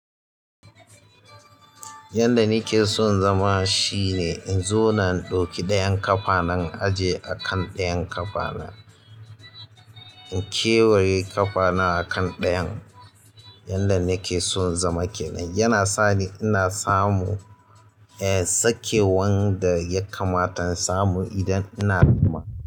Yanda nike son zama shine in zauna in ɗauki ɗayan ƙafa na in aje akan ɗayan ƙafa na in kewaye ƙafa na a kan ɗayan. Yanda nake son in zama kenan, yana sani ina samu, eh, sakewar da ya kamata in samu idan ina zama.